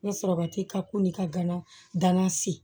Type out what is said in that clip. N ye sɔrɔbati ka ko ni ka gana gana se